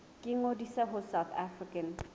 ba ngodise ho south african